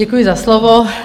Děkuji za slovo.